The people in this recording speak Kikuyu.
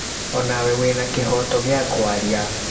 Onawe wĩna kĩhoto gĩa kwaria